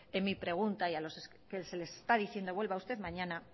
en mi pregunta y que se les está diciendo vuelva usted mañana